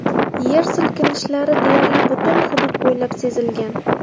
Yer silkinishlari deyarli butun hudud bo‘ylab sezilgan.